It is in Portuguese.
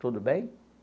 Tudo bem?